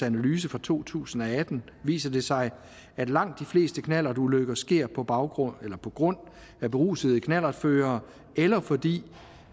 analyse fra to tusind og atten viser det sig at langt de fleste knallertulykker sker på grund på grund af berusede knallertførere eller fordi